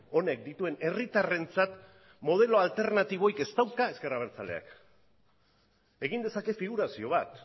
honek dituen herritarrentzat modelo alternatiborik ez dauka ezker abertzaleak egin dezake figurazio bat